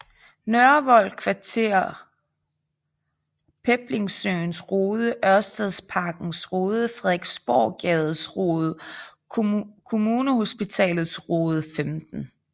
Nørrevold Kvarter Peblingesøens Rode Ørstedsparkens Rode Frederiksborggades Rode Kommunehospitalets Rode 15